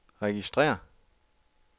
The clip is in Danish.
registrér